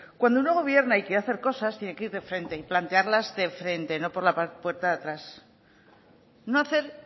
cuando uno gobierna y quiere hacer cosas tiene que ir de frente y plantearlas de frente no por la puerta de atrás no hacer